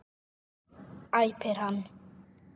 æpir hann.